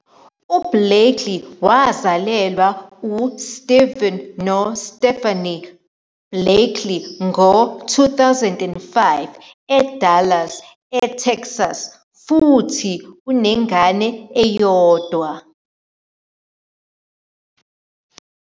UBlakely wazalelwa uSteven noStephanie Blakely e2005 eDallas, eTexas futhi unengane eyodwa.